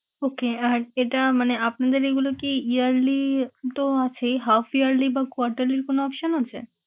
Okay আহ এটা মানে আপনাদের এগুলো কি yearly তো আছেই half yearly বা quarter এর কোন option আছে?